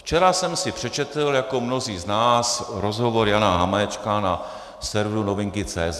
Včera jsem si přečetl, jako mnozí z nás, rozhovor Jana Hamáčka na serveru Novinky.cz.